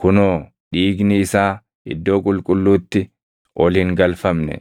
Kunoo, dhiigni isaa Iddoo Qulqulluutti ol hin galfamne;